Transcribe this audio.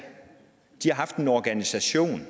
de har haft en organisation